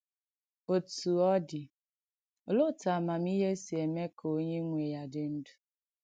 Ọ̀tú ọ̀ dị̀, olèè òtù àmàmihé sì èmè kà ònyè nwè ya dị̀ ndù́?